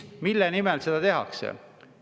Mille nimel seda tehakse?